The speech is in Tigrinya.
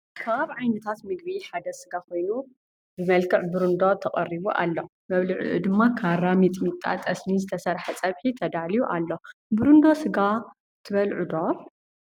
ካብ ዓይነዠታት ምግቢ ሐደ ሰጋ ኮይኑ ብመልክዕ ብርንዶ ተቀሪቡ አሎ መብልዕኡ ድማ ካራ ፣ ሚጥሚጣ ፣ጠሰሚ፣ ዝተሰርሐ ፀብሒ ተዳልዮ አሎ ። ብርዶ ሰጋ ትበልዕ ዶ ?